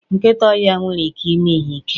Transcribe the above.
nkịta ọhịa nwere ike ime ihe ike.